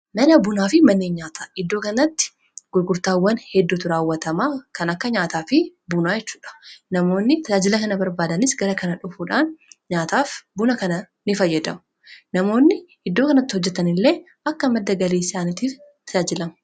mana bunaa fi manneen nyaata iddoo kanatti gurgurtaawwan hedduutu raawwatamaa kan akka nyaataa fi bunaa chuudha namoonni taajila kana barbaadanis gara kana dhufuudhaan nyaataaf buna kana in fayyadamu namoonni iddoo kanatti hojjetan illee akka madda galii saanitiif tajaajilama.